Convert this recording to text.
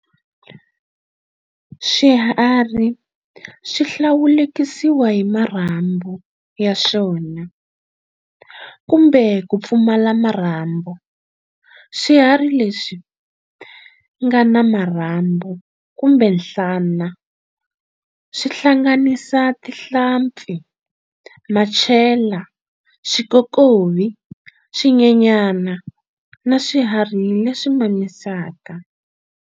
Swiharhi swi hlawulekisiwa hi Marhambu ya swona, kumbe ku pfumala marhambu. Swiharhi leswi ngana marhambu kumbe nhlana, swi hlanganisa, Tinhlampfi, Machela, Swikokovi, Swinyenyana, na Swiharhi leswi mamisaka.